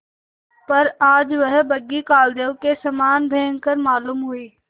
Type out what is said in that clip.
पर आज वह बग्घी कालदेव के समान भयंकर मालूम हुई